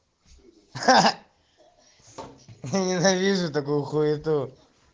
ахаха я ненавижу такую хуету